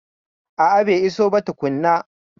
A'a bai iso ba tukuna